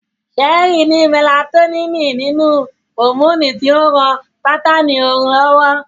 Sẹ́ẹ́rí ni mẹlatoníìnì nínú, hòmóònù tí ń ran bátáánì orun lọ́wọ́